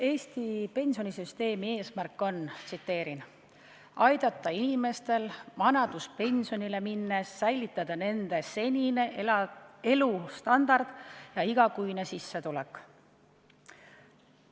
Eesti pensionisüsteemi eesmärk on "aidata inimestel vanaduspensionile minnes säilitada nende senine elustandard ja igakuine sissetulek".